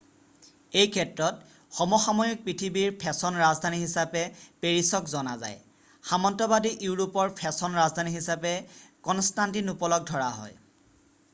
এই ক্ষেত্ৰত সমসাময়িক পৃথিৱীৰ ফেশ্বন ৰাজধানী হিচাপে পেৰিছক জনা যায় সামন্তবাদী ইউৰোপৰ ফেশ্বন ৰাজধানী হিচাপে কনষ্টান্তিনোপলক ধৰা হয়